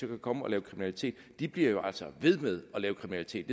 komme og lave kriminalitet de bliver jo altså ved med at lave kriminalitet